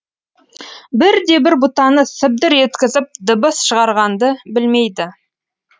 бір де бір бұтаны сыбдыр еткізіп дыбыс шығарғанды білмейді